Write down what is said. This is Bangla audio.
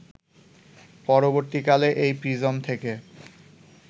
পরবর্তীকালে এই প্রিজম থেকে